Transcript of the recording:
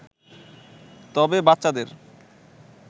তবে বাচ্চাদের